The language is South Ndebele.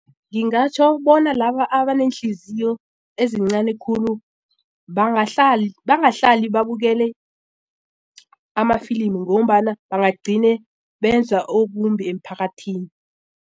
Ngingatjho bona laba abaneenhliziyo ezincani khulu bangahlali babukele amafilimi ngombana bangagcina benza okumbi emphakathini.